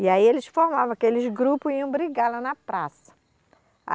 E aí eles formavam aqueles grupos e iam brigar lá na praça.